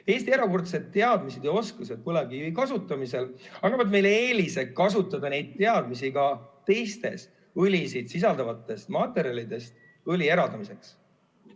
Eesti erakordsed teadmised ja oskused põlevkivi kasutamisel annavad meile eelise kasutada neid teadmisi ka teistest õli sisalduvatest materjalidest õli eraldamiseks.